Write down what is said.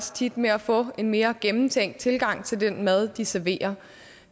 tit med at få en mere gennemtænkt tilgang til den mad de serverer